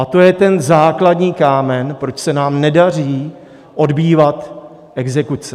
A to je ten základní kámen, proč se nám nedaří odbývat exekuce.